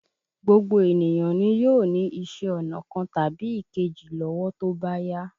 Gbogbo ènìyàn nì yóò ní iṣẹ́ ọnà kan tàbí èkejì lówó tó bá yá.